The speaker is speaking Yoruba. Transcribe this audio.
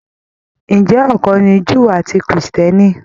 Ǹjẹ́ ọ̀kan ni Júù àti Krìstìẹ́nì?